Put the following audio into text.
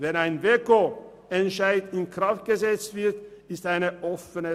Wann ein WEKO-Entscheid in Kraft gesetzt wird, ist offen.